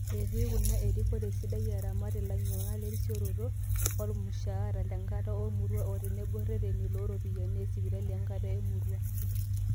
Etii kuna erikore sidai, aramat ilanyiangak terisoroto, olmusharaa lenkata emoruao o tenebo ireteni looropiyiani esipitali enkata emoruao.